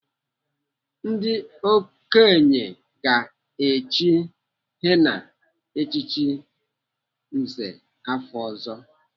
Ndị okenye ga-echi Henna echichi nze afọ ọzọ.